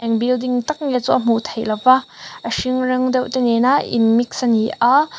eng building tak nge chu a hmuh theih loh a a hring rawng deuh te nen a in mix a ni a--